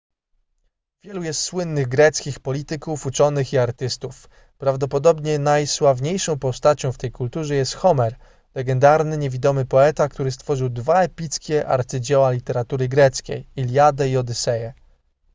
wielu jest słynnych greckich polityków uczonych i artystów prawdopodobnie najsławniejszą postacią w tej kulturze jest homer legendarny niewidomy poeta który stworzył dwa epickie arcydzieła literatury greckiej iliadę i odyseję